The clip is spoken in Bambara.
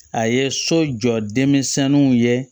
A ye so jɔ denmisɛnw ye